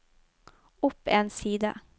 opp en side